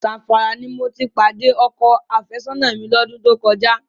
Zamfara ni mo ti pàdé ọkọ àfẹ́sọ́nà mi lọ́dún tó kọjá.